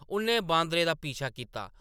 उʼन्नै बांदरै दा पीछा कीता।